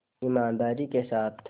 ईमानदारी के साथ